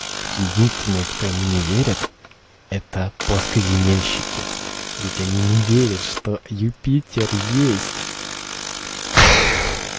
единственный кто ему не верит это плоскоземельщики ведь они не верят что юпитер есть